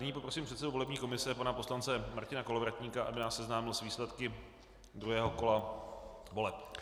Nyní poprosím předsedu volební komise pana poslance Martina Kolovratníka, aby nás seznámil s výsledky druhého kola voleb.